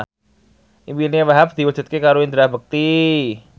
impine Wahhab diwujudke karo Indra Bekti